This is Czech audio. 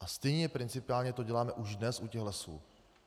A stejně principiálně to děláme už dnes u těch Lesů.